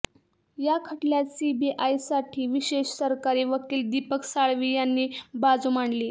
या खटल्यात सीबीआयासाठी विशेष सरकारी वकील दीपक साळवी यांनी बाजू मांडली